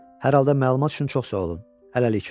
Hər halda məlumat üçün çox sağ olun, hələlik.